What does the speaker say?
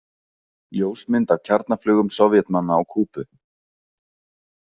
Ljósmynd af kjarnaflaugum Sovétmanna á Kúbu.